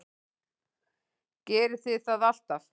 Gerið þið það alltaf?